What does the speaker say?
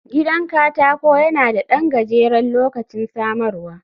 Gidan katako yana da ɗan gajeren lokacin samarwa